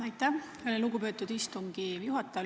Aitäh, lugupeetud istungi juhataja!